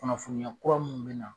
Kunnafoniya kura mun bɛ na.